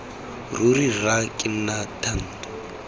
ruri rra ke nna thando